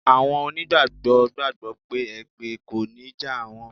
Àwọn onígbàgbọ́ gbàgbọ́ pé èpè kò ní jà àwọn.